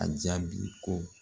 A jaabi ko